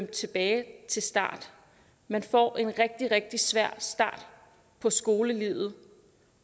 tilbage til start man får en rigtig rigtig svær start på skolelivet